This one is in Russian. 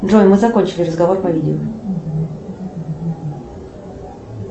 джой мы закончили разговор по видео